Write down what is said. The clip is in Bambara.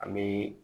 An bɛ